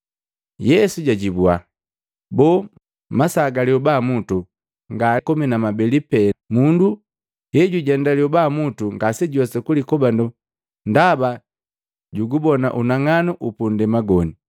Yesu jwaajibwa, “Boo, masaa ga lyoba mutu nga komi na mabeli pee? Mundu hejujenda lyobamutu ngajuwesi kulikobando ndaba jugubona unang'anu upundema goni.